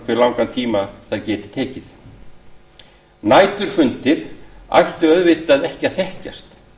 hve langan tíma þær geti staðið næturfundir ættu auðvitað ekki að þekkjast